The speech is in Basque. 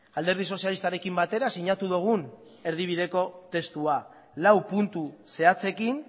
alderdi sozialistarekin batera sinatu dugun erdibideko testua lau puntu zehatzekin